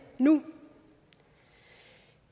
nu